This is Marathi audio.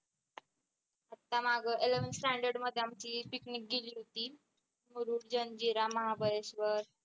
आता माग eleventh standard मध्ये आमची पिकनिक गेली होती. मुरुड जंजिरा महाबळेश्वर